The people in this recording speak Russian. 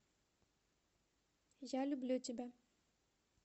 я люблю тебя